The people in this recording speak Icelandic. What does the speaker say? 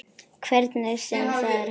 Hvernig sem það er hægt.